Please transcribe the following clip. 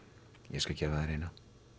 ég skal gefa þér eina